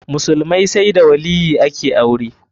Musulmai sai da waliyyi ake aure.